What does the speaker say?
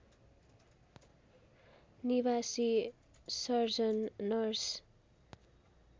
निवासी surgeon nurse